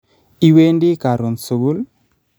Iwendi karoon sugul?